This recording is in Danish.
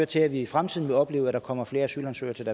til at vi i fremtiden vil opleve at der kommer flere asylansøgere til